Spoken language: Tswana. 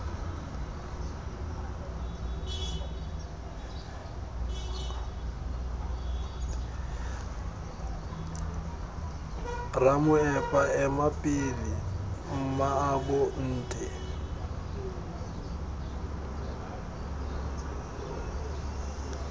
ramoepa ema pele mmaabo nte